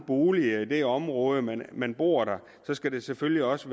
bolig i det område og man man bor der så skal der selvfølgelig også